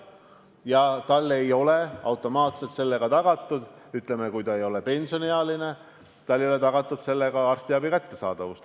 Kui ta ei ole pensioniealine, siis talle ei ole automaatselt tagatud arstiabi kättesaadavus.